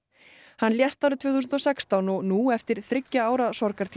hann lést árið tvö þúsund og sextán og nú eftir þriggja ára